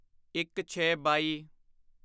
ਇੱਕਛੇਬਾਈ